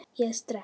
Ég er sterk.